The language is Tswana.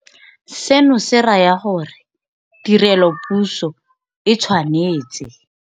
Seno se raya gore tirelopuso e tshwanetse.